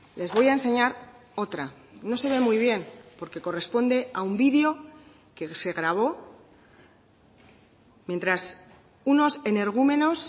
les voy a enseñar otra no se ve muy bien porque corresponde a un video que se gravó mientras unos energúmenos